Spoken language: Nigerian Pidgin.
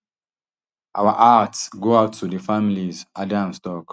our hearts go out to di families adams tok